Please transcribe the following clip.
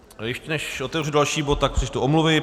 Ještě než otevřu další bod, tak přečtu omluvy.